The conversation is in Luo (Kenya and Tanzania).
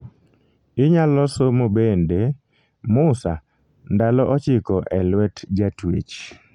inyalo somo bende; musa :ndalo ochiko e lwet jatuech